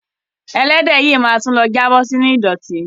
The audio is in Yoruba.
Ẹlẹ́dẹ̀ yìí ma tún lọ jábọ̀ sínú ìdọ̀tí.